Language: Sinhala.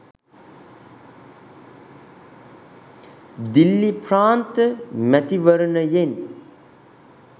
දිල්ලි ප්‍රාන්ත මැතිවරණයෙන්